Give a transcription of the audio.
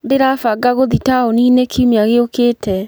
Ndĩrabanga gũthiĩ taũni-inĩ kiumia gĩũkĩte.